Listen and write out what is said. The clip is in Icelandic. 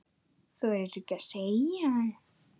Þorir ekkert að segja.